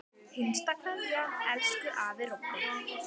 HINSTA KVEÐJA Elsku afi Robbi.